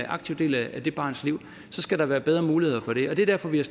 aktiv del af det barns liv skal der være bedre muligheder for det og det er derfor vi har